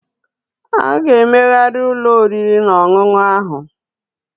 A ga-emegharị ụlọ oriri na ọṅụṅụ ahụ